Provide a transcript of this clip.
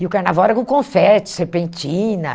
E o carnaval era com confete, serpentina.